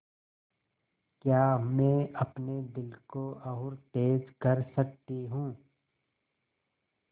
क्या मैं अपने दिल को और तेज़ कर सकती हूँ